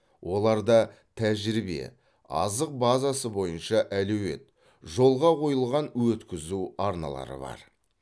оларда тәжірибе азық базасы бойынша әлеует жолға қойылған өткізу арналары бар